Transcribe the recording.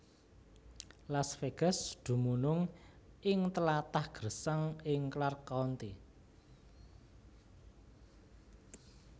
Las Vegas dumunung ing tlatah gersang ing Clark County